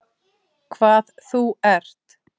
Hvað þú ert.